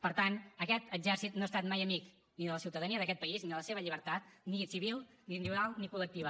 per tant aquest exèrcit no ha estat mai amic ni de la ciutadania d’aquest país ni de la seva llibertat ni civil ni individual ni col·lectiva